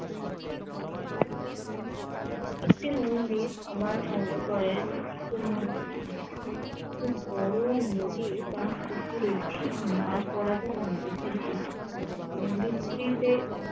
একটি মন্দির আমার মনে পরে একটা বড় নদি বা পুকুরে মাঝ বরাবর নদীটি মন্দিরটি তে